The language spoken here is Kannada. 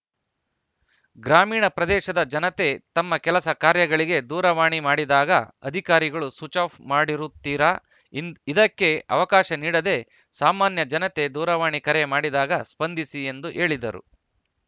ಗ್ರಾಮೀಣ ಪ್ರದೇಶದ ಜನತೆ ತಮ್ಮ ಕೆಲಸ ಕಾರ್ಯಗಳಿಗೆ ದೂರವಾಣಿ ಮಾಡಿದಾಗ ಅಧಿಕಾರಿಗಳು ಸ್ವಿಚ್‌ಆಫ್‌ ಮಾಡಿರುತ್ತಿರಾ ಇಂ ಇದಕ್ಕೆ ಅವಕಾಶ ನೀಡದೇ ಸಾಮಾನ್ಯ ಜನತೆ ದೂರವಾಣಿ ಕರೆ ಮಾಡಿದಾಗ ಸ್ಪಂದಿಸಿ ಎಂದು ಹೇಳಿದರು